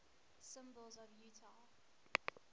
symbols of utah